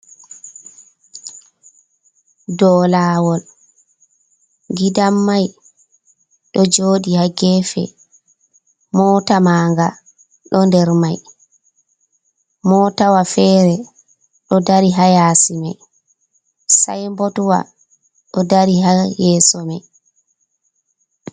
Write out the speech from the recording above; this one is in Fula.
Dou lawol gidan-mai ɗo joɗi ha gefe, mota manga ɗo nder mai, motawa fere ɗo dari ha yasi mai, sai signboardwa ɗo dari ha yeso mai.